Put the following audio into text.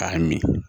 K'a min